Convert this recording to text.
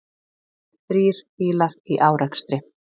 Þrír bílar í árekstri